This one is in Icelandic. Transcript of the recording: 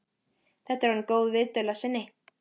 Þetta er orðin góð viðdvöl að sinni.